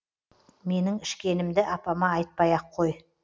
менің ішкенімді апама айтпай ақ қой